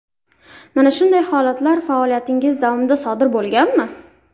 Mana shunday holatlar faoliyatingiz davomida sodir bo‘lganmi?